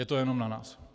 Je to jenom na nás.